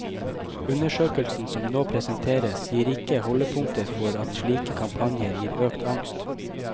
Undersøkelsen som nå presenteres, gir ikke holdepunkter for at slike kampanjer gir økt angst.